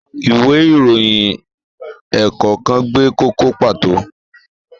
Ìwé ìròyìn ẹ̀ẹ̀kọ̀kan gbé kókó pàtó.